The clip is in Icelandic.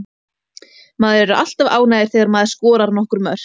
Maður er alltaf ánægður þegar maður skorar nokkur mörk.